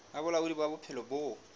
ba bolaodi ba bophelo bo